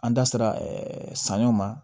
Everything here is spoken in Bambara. An da sera sanɲɔ ma